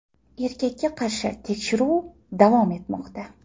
Erkakka qarshi tekshiruv davom etmoqda.